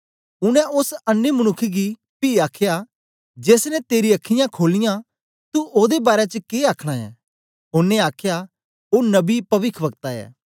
उनै ओस अन्नें मनुक्ख गी पी आखया जेस ने तेरीयां अखीयाँ खोलीयां तू ओदे बारै च के आखना ऐं ओनें आखया ओ नबी पविखवक्ता ऐ